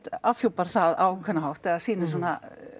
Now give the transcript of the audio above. afhjúpar það á ákveðinn hátt eða sýnir svona